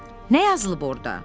Nə yazılıb orda?